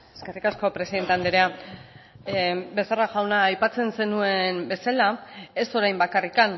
eskerrik asko presidente andrea becerra jauna aipatzen zenuen bezala ez orain bakarrik